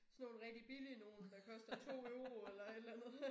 Sådan nogle rigtig billige nogle der koster 2 euro eller et eller andet